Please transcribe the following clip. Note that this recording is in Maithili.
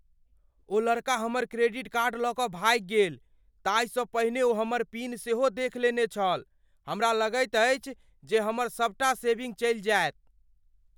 ओ लड़का हमर क्रेडिट कार्ड लऽ कऽ भागि गेल। ताहिसँ पहिने ओ हमर पिन सेहो देख लेने छल। हमरा लगैत अछि जे हमर सबटा सेविंग चलि जायत।